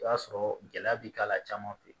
O b'a sɔrɔ gɛlɛya bi k'a la caman fɛ